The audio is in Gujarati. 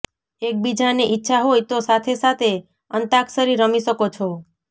એકબીજાની ઈચ્છા હોય તો સાથે સાથે અંતાક્ષરી રમી શકો છો